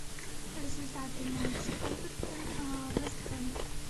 результаты матча эвертон вест хэм